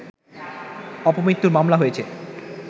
অপমৃত্যুর মামলা হয়েছে